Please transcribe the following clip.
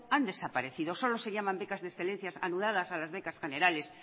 han desaparecido solo se llaman becas de excelencia anudadas a las becas generales